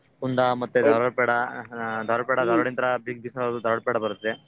ಅಹ್ Belgaum kunda famous kunda ಮತ್ತೆ ಧಾರವಾಡ ಪೇಡಾ ಧಾರವಾಡ ಪೇಡಾ ಧಾರವಾಡಿಂತ್ರಾ big Mishra ಅವ್ರದು ಧಾರವಾಡ ಪೇಡಾ ಬರುತ್ತೆ.